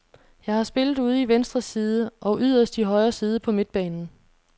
Jeg har spillet ude i venstre side og yderst i højre side på midtbanen.